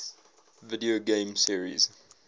video game series